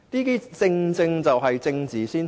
這正正就是政治先行。